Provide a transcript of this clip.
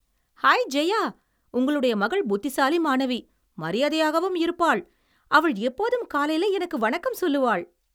High Jaya, உங்களுடைய மகள் புத்திசாலி மாணவி, மரியாதையாகவும் இருப்பாள். அவள் எப்போதும் காலையில எனக்கு வணக்கம் சொல்லுவாள்.